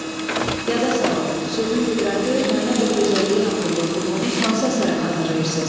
Yada salın, sözün qüdrəti, məna və gözəlliyi haqqında oxuduğunuz hansı əsəri xatırlayırsınız?